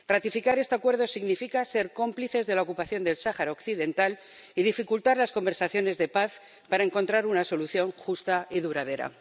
Ratificar este Acuerdo significa ser cómplices de la ocupación del Sáhara Occidental y dificultar las conversaciones de paz para encontrar una solución justa y duradera.